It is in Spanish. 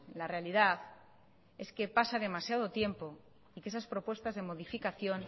la realidad es que pasa demasiado tiempo de que esas propuestas de modificación